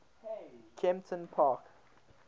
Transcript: kemptonpark